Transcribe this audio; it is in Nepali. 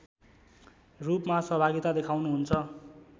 रूपमा सहभागिता देखाउनुहुन्छ